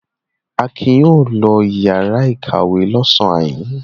Akin yóò lọ ìyàrá-ìkàwé lọ́sàn-án yìí.